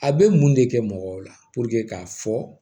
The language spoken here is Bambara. A bɛ mun de kɛ mɔgɔw la k'a fɔ